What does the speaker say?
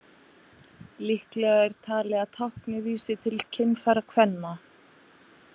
Líklegra er talið að táknið vísi til kynfæra kvenna.